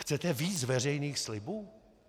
Chcete víc veřejných slibů?